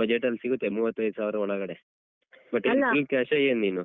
budget ಸಿಗುತ್ತೆ ಮೂವತ್ತೈದ್ ಸಾವ್ರ ಒಳಗಡೆ but full cash ಏನ್ ನೀನು?